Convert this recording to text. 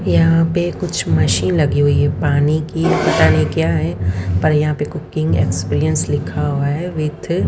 यहां पे कुछ मशीन लगी हुई है पानी की पता नहीं क्या है पर यहां पे कुकिंग एक्सपीरियंस लिखा हुआ है विथ --